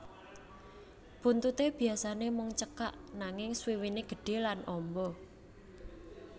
Buntuté biyasané mung cekak nanging swiwiné gedhe lan amba